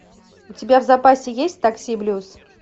у тебя в запасе есть такси блюз